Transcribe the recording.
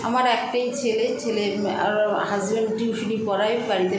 আমার একটাই ছেলে ছেলের আরর husband tuition -ই পড়ায় বাড়িতে